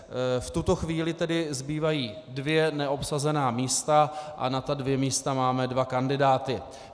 V tuto chvíli tedy zbývají dvě neobsazené místa, a na ta dvě místa máme dva kandidáty.